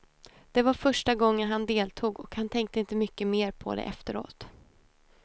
Det var första gången han deltog och han tänkte inte mycket mer på det efteråt.